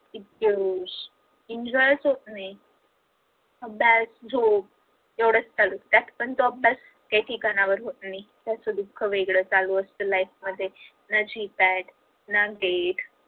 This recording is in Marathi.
enjoy च होत नाही, अभ्यास झोप एवढंचचालू त्यात पण तो अभ्यास काही ठिकाणावर राहत नाही त्याच दुख वेगळ चालू असत life मध्ये